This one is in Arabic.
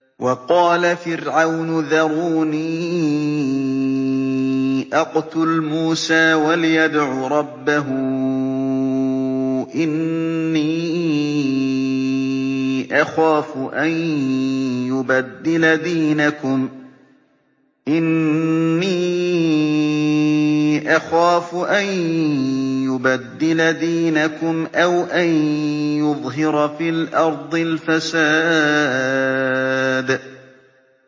وَقَالَ فِرْعَوْنُ ذَرُونِي أَقْتُلْ مُوسَىٰ وَلْيَدْعُ رَبَّهُ ۖ إِنِّي أَخَافُ أَن يُبَدِّلَ دِينَكُمْ أَوْ أَن يُظْهِرَ فِي الْأَرْضِ الْفَسَادَ